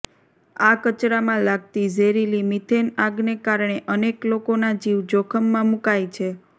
આ કચરામાં લાગતી ઝેરીલી મીથેન આગને કારણે અનેક લોકોના જીવ જોખમમાં મુકાય છે